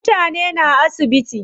Mutane na asibiti.